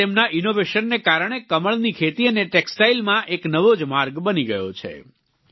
આજે તેમના ઈનોવેશનને કારણે કમળની ખેતી અને ટેક્સ્ટાઈલમાં એક નવો જ માર્ગ બની ગયો છે